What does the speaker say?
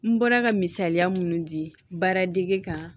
N bɔra ka misaliya munnu di baara dege kan